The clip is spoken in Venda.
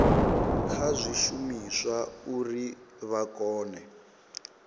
kha zwishumiswa uri vha kone